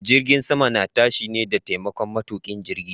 Jirgin sama na tashi ne da taimakon matuƙin jirgi.